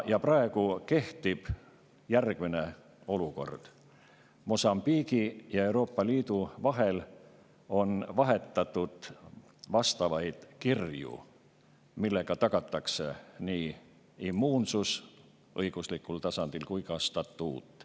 Praegu kehtib järgmine olukord: Mosambiigi ja Euroopa Liidu vahel on vahetatud kirju, millega tagatakse nii immuunsus õiguslikul tasandil kui ka statuut.